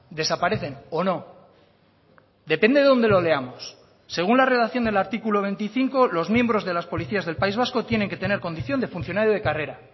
desaparecen o no depende dónde lo leamos según la redacción del artículo veinticinco los miembros de las policías del país vasco tienen que tener condición de funcionario de carrera